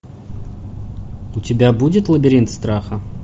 у тебя будет лабиринт страха